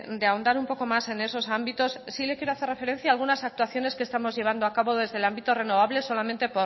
de ahondar un poco más en esos ámbitos sí le quiero hacer referencia a algunas actuaciones que estamos llevando a cabo desde el ámbito renovable solamente